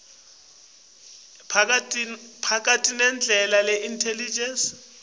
ekhatsi timphawu letilingene